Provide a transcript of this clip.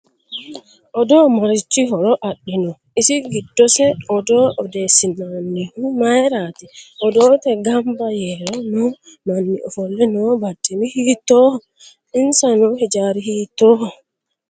Odoo marichi horo adino isi giddose odoo odeesinanihu mayiirati odoote ganba yer noo manni ofolle noo barcimi hiitooho insa noo hijaari hiitooho